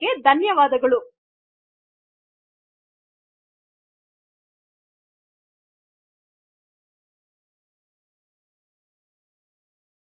spoken tutorial project ಗಾಗಿ dubbing ಮಾಡುತ್ತಿರುವುದು ಕಾವ್ಯ